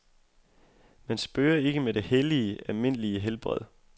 Man spøger ikke med det hellige, almindelige helbred.